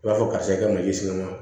I b'a fɔ karisa e ka mali siri wa